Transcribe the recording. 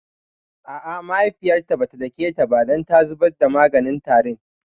A'a mahaifiyarta bata dake ta ba dan ta zubar da maganin tarin